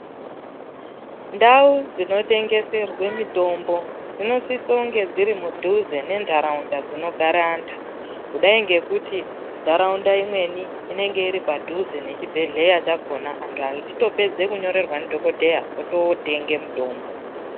Ndau dzinotengeserwe mitombo dzinosise kunge dziri mudhuze nentaraunda dzinogara antu kudai ngekuti ntaraunda imweni inenge iripadhuze nechibhedhlera chakona antu achingopedze kunyorerwa ndidhokodheya otoo tenge mitombo.